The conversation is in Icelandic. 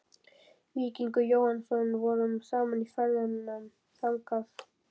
Víkingur Jóhannsson vorum saman í ferðum þangað.